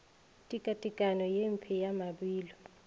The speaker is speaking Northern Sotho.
tekatekanyo ye mpe ya mabilo